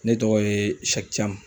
Ne tɔgɔ ye SIYƐKI CAMU.